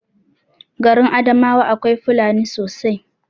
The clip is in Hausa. Garin adamawa akwai fulani sosai